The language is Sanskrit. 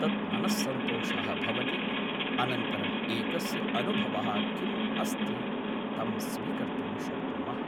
तत् मनस्संतोषः भवति अनन्तरम् एकस्य अनुभवः किम् अस्ति तं स्वीकर्तुं शक्नुमः